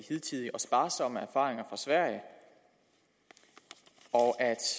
hidtidige og sparsomme erfaringer fra sverige og